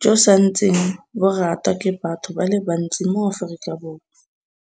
jo sa ntseng bo ratwa ke batho ba le bantsi mo Aforika Borwa.